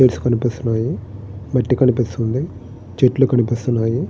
Chairs కనిపిస్తూ ఉన్నాయి మట్టి కనిపిస్తూ ఉంది చెట్లు కనిపిస్తూ ఉన్నాయి.